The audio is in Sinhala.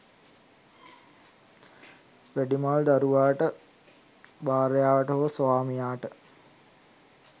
වැඩිමල් දරුවාට භාර්යාවට හෝ ස්වාමියාට